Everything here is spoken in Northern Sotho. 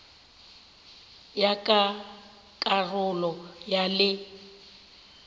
ya ka karolo ya le